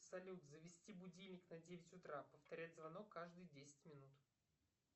салют завести будильник на девять утра повторять звонок каждые десять минут